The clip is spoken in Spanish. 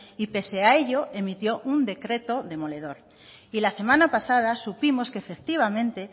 y pese a ello emitió un decreto demoledor y la semana pasada supimos que efectivamente